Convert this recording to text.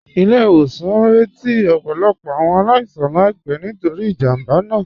Ilẹ̀-ìwòsàn ñ rẹ̀tí ọ̀pọ̀lọ̀pọ̀ awọn aláìsàn láìpẹ̀ nítorí ìjámbá náà